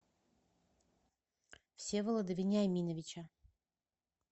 всеволода вениаминовича